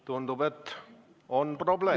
Tundub, et on probleem.